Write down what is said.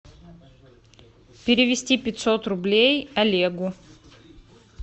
перевести пятьсот рублей олегу